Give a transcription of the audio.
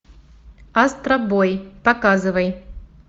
астробой показывай